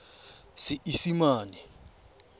seesimane